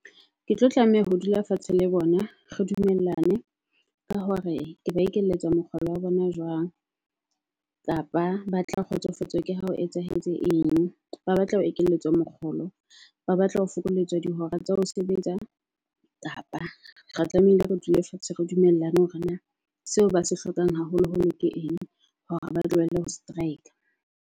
Ke tlo tlameha ho dula fatshe le bona re dumellane ka hore ke ba ekelletswa mokgolo wa bona jwang. Kapa ba tla kgotsofatswa ke ha ho etsahetse eng. Ba batla ho ekelletswa mokgolo ba batla ho fokoletswa di hora tsa ho sebetsa. Kapa re tlamehile re dule fatshe re dumellane hore na seo ba se hlokang haholo holo ke eng. Hore ba tlohelle ho strike.